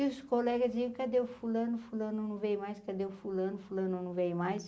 E os colegas iam, cadê o fulano, fulano não veio mais, cadê o fulano, fulano não veio mais.